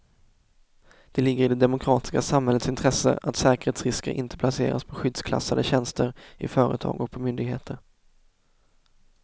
Det ligger i det demokratiska samhällets intresse att säkerhetsrisker inte placeras på skyddsklassade tjänster i företag och på myndigheter.